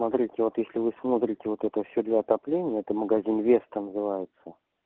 смотрите вот если вы смотрите вот это всё для отопления это магазин веста называется